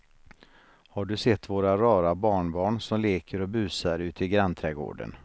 Har du sett våra rara barnbarn som leker och busar ute i grannträdgården!